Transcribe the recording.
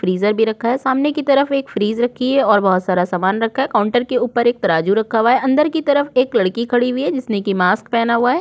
Freezer भी रखा है सामने की तरफ एक फ्रिज रखी है और बहुत सारा सामान रखा है काउंटर के ऊपर एक तराजू रखा हुआ है अंदर कि तरफ एक लड़की खड़ी हुई है जिसने की मास्क पहना हुआ हैं।